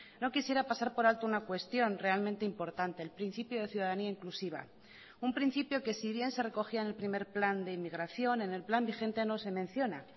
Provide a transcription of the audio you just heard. no quisiera pasar por alto una cuestión realmente importante el principio de ciudadanía inclusiva un principio que si bien se recogía en el primer plan de inmigración en el plan vigente no se menciona